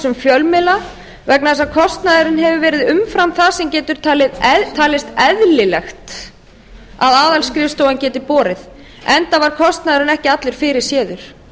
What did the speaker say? um fjölmiðla vegna þess að kostnaðurinn hefur verið umfram það sem getur talist eðlilegt að aðalskrifstofan geti borið enda var kostnaðurinn ekki allur fyrirséður